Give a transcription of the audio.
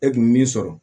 E kun bi min sɔrɔ